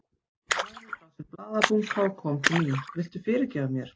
Hann lagði frá sér blaðabunka og kom til mín. Viltu fyrirgefa mér?